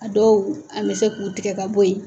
A dɔw an bɛ se k'u tigɛ ka bɔ yen.